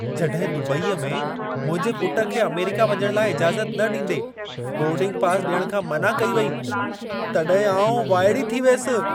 जॾहिं दुबईअ में मुंहिंजे पुट खे अमेरिका वञण लाइ इजाज़त न ॾींदे बोर्डिंग पासि ॾियण खां मना कई वेई, तॾहिं आउं वाइड़ी थी वियसि।